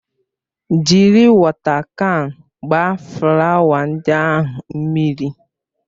Jiri wọta kan gbaa flawa ndị ahụ mmiri!